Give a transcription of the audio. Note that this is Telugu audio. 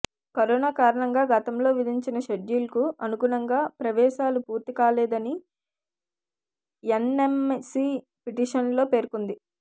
కరోనా కారణంగా గతంలో విధించిన షెడ్యూల్కు అనుగుణంగా ప్రవేశాలు పూర్తికాలేదని ఎన్ఎంసీ పిటిషన్లో పేర్కొంది